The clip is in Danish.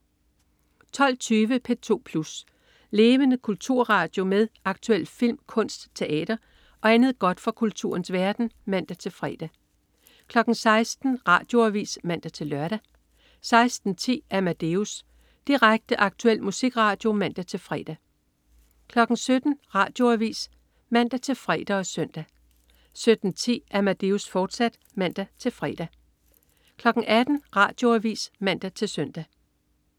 12.20 P2 Plus. Levende kulturradio med aktuel film, kunst, teater og andet godt fra kulturens verden (man-fre) 16.00 Radioavis (man-lør) 16.10 Amadeus. Direkte, aktuel musikradio (man-fre) 17.00 Radioavis (man-fre og søn) 17.10 Amadeus, fortsat (man-fre) 18.00 Radioavis (man-søn)